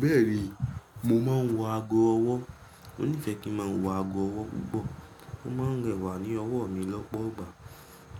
Bẹ́ẹ̀ni, mo máa ń wọ ago ọwọ́. Mo nífẹ̀ẹ́ kí n máa wọ ago ọwọ́ púpọ̀. Ó máa ń rẹwà ní ọwọ́ mi lọ́pọ̀ ọgbà.